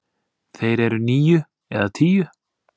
Þeir eru níu eða tíu.